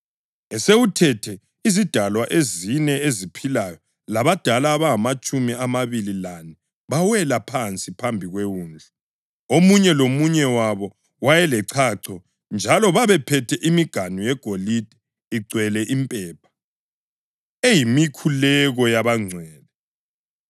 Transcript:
Esewuthethe, izidalwa ezine eziphilayo labadala abangamatshumi amabili lane bawela phansi phambi kweWundlu. Omunye lomunye wabo wayelechacho njalo babephethe imiganu yegolide igcwele impepha, eyimikhuleko yabangcwele.